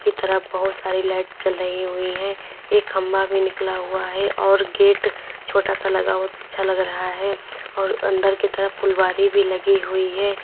तरफ बहुत सारी लाइट जल रही हुई हैं एक खंभा भी निकला हुआ है और गेट छोटा सा लगा हुआ बहुत अच्छा लग रहा है और अंदर की तरफ फुलवारी भी लगी हुई है।